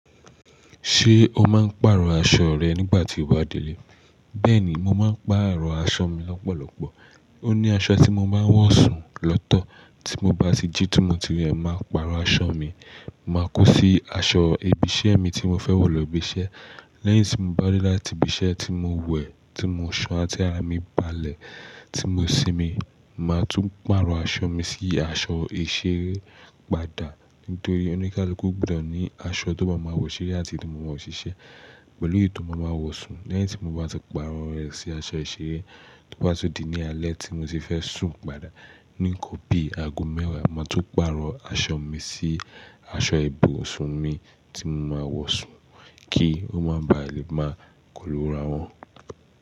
Ṣé o máa ń pàrọ̀ aṣọ rẹ nígbà tí o bá délé? Bẹ́ẹ̀ni, mo máa ń pàrọ̀ aṣọ mi lọ́pọ̀lọpọ̀. Ó ní aṣọ tí mo máa ń wọ̀ sùn lọ́tọ̀, tí mo bá ti jí timòtì rẹ̀, màá pàrọ̀ aṣọ mi, màá kó sí aṣọ ibi iṣẹ́ mi tí mo fẹ́ wọ̀ lọ ibi iṣẹ́. Lẹ́yìn tí mo bá dé láti ibi iṣẹ́ tí mo wẹ̀, tí mo ṣanra ti ara mi balẹ̀ tí mo sinmi, màá tún pàrọ̀ aṣọ mi sí aṣọ ìṣeré padà nítorí ó ní kaluku gbudó ní aṣọ tó má máa wọ̀ ṣeré àti eyi to maa má wo ṣiṣẹ́ pẹ̀lú èyí tó máa ma wọ̀ sùn. Lẹ́yìn tí mo bá ti pàrọ̀ rẹ̀ sí aṣọ ìṣeré, tó bá tun di ní alẹ́ tí mo ti fẹ́ sùn padà, níkan bí ago mẹ́wàá, màá tún pàrọ̀ aṣọ mi sí aṣọ ibùsùn mi tí mo máa wọ̀ sùn kí ó máa ba lè máa kólù úra wọn.